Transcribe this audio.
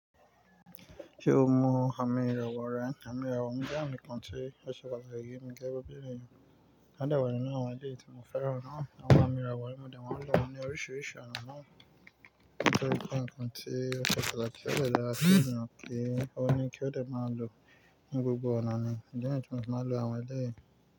Ṣé o mọ àmì ìràwọ̀ rẹ? Àmì ìràwọ̀ mi jẹ àmì kan tí ó ṣe pàtàkì èyí, ń jẹ gbogbo ènìyàn. Láàdàbí nínú àwọn èyí tí mo fẹ́ràn náà, àwọn àmì ìràwọ̀ mo dẹ̀ wá lò ní oríṣiríṣi ọ̀nà náà. Nítorí pé nǹkan tí ó ṣe pàtàkì ó dọ̀tí láti mọ̀ pé ó ní kí ó dẹ̀ máa lò ní gbogbo ọ̀nà ni. Ǹjẹ́ èyí ni tí mo máa lò àwọn eléyìí.